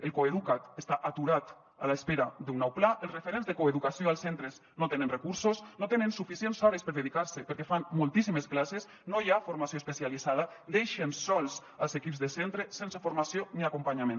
el coeduca’t està aturat a l’espera d’un nou pla els referents de coeducació als centres no tenen recursos no tenen suficients hores per dedicar s’hi perquè fan moltíssimes classes no hi ha formació especialitzada deixen sols els equips de centre sense formació ni acompanyament